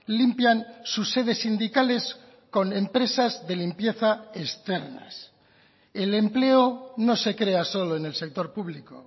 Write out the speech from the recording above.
limpian sus sedes sindicales con empresas de limpieza externas el empleo no se crea solo en el sector público